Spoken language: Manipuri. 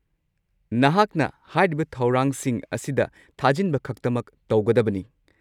ꯅꯍꯥꯛꯅ ꯍꯥꯏꯔꯤꯕ ꯊꯧꯔꯥꯡꯁꯤꯡ ꯑꯁꯤꯗ ꯊꯥꯖꯤꯟꯕꯈꯛꯇꯃꯛ ꯇꯧꯒꯗꯕꯅꯤ꯫